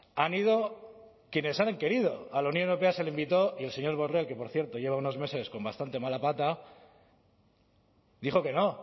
han ido quienes han querido a la unión europea se le invitó y el señor borrell que por cierto lleva unos meses con bastante mala pata dijo que no